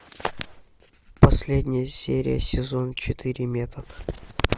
последняя серия сезон четыре метод